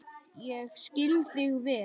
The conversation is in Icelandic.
Ég skil þig vel.